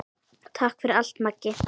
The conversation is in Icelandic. Takk fyrir allt, Maggi.